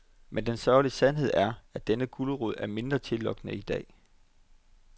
Men den sørgelige sandhed er, at denne gulerod er mindre tillokkende i dag.